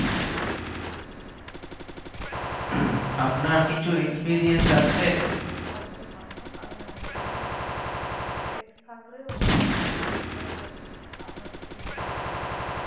আপনার কিছু experience আছে কোনো problem হয় না কারণ amazon এ detack থাকলে ওরা জিনিস টাকে আপনাকে free তেই দিয়ে দেয়